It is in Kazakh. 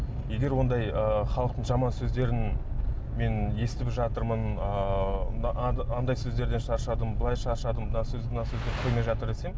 егер ондай ы халықтың жаман сөздерін мен естіп жатырмын ыыы анадай сөздерден шаршадым былай шаршадым мына сөз мына жатыр десем